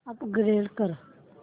upgrade कर